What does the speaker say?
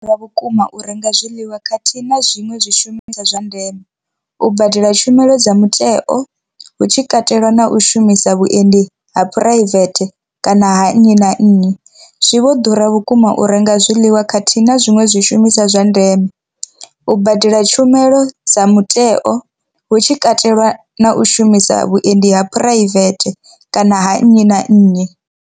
Ḓura vhukuma u renga zwiḽiwa khathihi na zwiṅwe zwishumiswa zwa ndeme, u badela tshumelo dza muteo hu tshi katelwa na u shumisa vhuendi ha phuraivethe kana ha nnyi na nnyi. Zwi vho ḓura vhukuma u renga zwiḽiwa khathihi na zwiṅwe zwishumiswa zwa ndeme, u badela tshumelo dza muteo hu tshi katelwa na u shumisa vhuendi ha phuraivethe kana ha nnyi na nnyi.